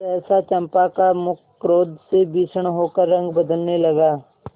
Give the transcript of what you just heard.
सहसा चंपा का मुख क्रोध से भीषण होकर रंग बदलने लगा